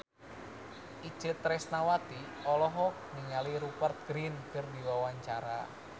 Itje Tresnawati olohok ningali Rupert Grin keur diwawancara